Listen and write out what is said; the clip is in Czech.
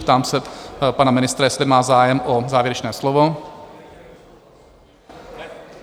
Ptám se pana ministra, jestli má zájem o závěrečné slovo?